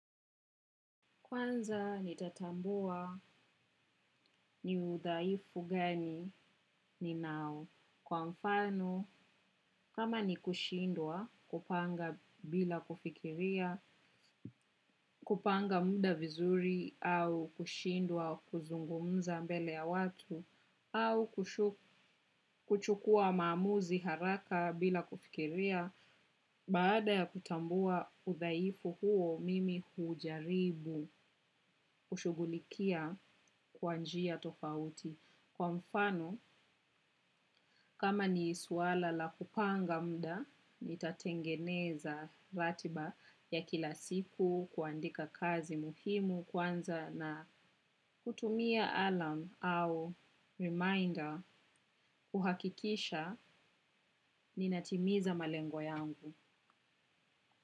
Kwanza nitatambua ni udhaifu gani ni nao kwa mfano kama ni kushindwa kupanga bila kufikiria, kupanga muda vizuri au kushindwa kuzungumza mbele ya watu au kuchukua maamuzi haraka bila kufikiria. Baada ya kutambua udhaifu huo, mimi hujaribu ushugulikia kwa njia tofauti. Kwa mfano, kama ni isuala la kupanga muda, ni tatengeneza ratiba ya kila siku kuandika kazi muhimu kwanza na kutumia alarm au reminder kuhakikisha ninatimiza malengo yangu.